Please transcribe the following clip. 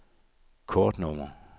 kortnummer